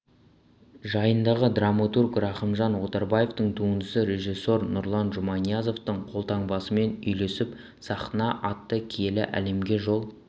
жайындағы драматург рахымжан отарбаевтың туындысы режиссер нұрлан жұманиязовтың қолтаңбасымен үйлесіп сахна атты киелі әлемге жол